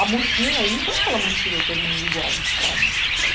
A mochila, ele não quer aquela mochila todo mundo igual, do Estado.